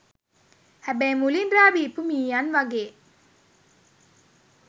හැබැයි මුලින් රා බීපු මීයන් වගේ